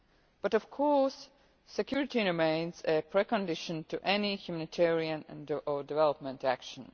well. But of course, security remains a pre condition for any humanitarian or development action.